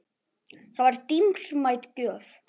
Það var dýrmæt gjöf.